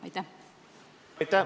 Aitäh!